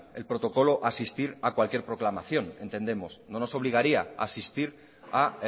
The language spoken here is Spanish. el protocolo a asistir a cualquier proclamación entendemos no nos obligaría a asistir a